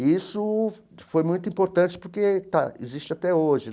E isso foi muito importante porque está existe até hoje.